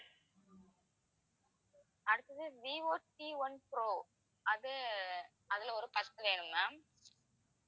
அடுத்தது Vivo Cone pro அது, அதுல ஒரு பத்து வேணும் ma'am